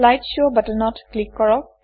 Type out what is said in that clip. slide show বাটনত click কৰক